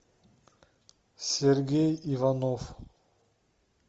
сергей иванов